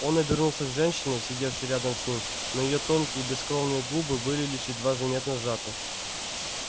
он обернулся к женщине сидевшей рядом с ним но её тонкие бескровные губы были лишь едва заметно сжаты